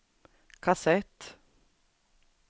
kassett